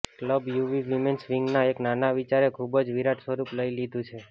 club UV women's વિંગના એક નાના વિચારે ખુબ જ વિરાટ સ્વરૂપ લઈ લીધું છે